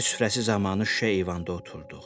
Çay süfrəsi zamanı şüşə eyvanda oturduq.